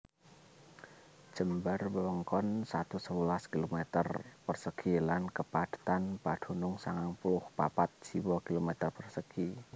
Jembar wewengkon satus sewelas km persegi lan kapadhetan padunung sangang puluh papat jiwa/km persegi